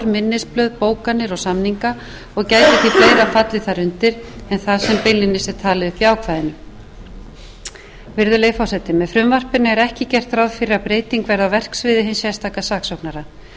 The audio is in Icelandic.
minnisblöð bókanir og samninga og gæti því fleira fallið þar undir en það sem beinlínis er talið upp í ákvæðinu virðulegi forseti með frumvarpinu er ekki gert ráð fyrir að breyting verði á verksviði hins sérstaka saksóknara